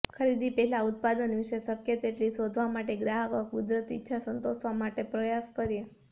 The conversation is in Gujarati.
ખરીદી પહેલાં ઉત્પાદન વિશે શક્ય તેટલી શોધવા માટે ગ્રાહકો કુદરતી ઇચ્છા સંતોષવા માટે પ્રયાસ કરીએ